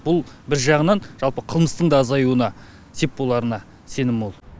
бұл бір жағынан жалпы қылмыстың да азаюына сеп боларына сенім мол